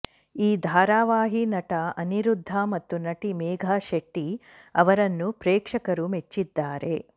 ಈ ಧಾರಾವಾಹಿ ನಟ ಅನಿರುದ್ಧ ಮತ್ತು ನಟಿ ಮೇಘಾ ಶೆಟ್ಟಿ ಅವರನ್ನು ಪ್ರೇಕ್ಷಕರು ಮೆಚ್ಚಿದ್ದಾರೆ